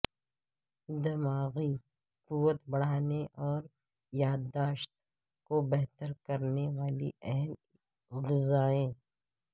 دماغی قوت بڑھانےاور یادداشت کو بہتر کرنے والی اہم غذائیں